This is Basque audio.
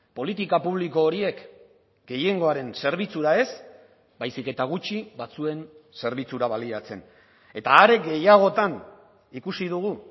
politika publiko horiek gehiengoaren zerbitzura ez baizik eta gutxi batzuen zerbitzura baliatzen eta are gehiagotan ikusi dugu